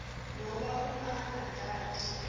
ngoba uma ungatati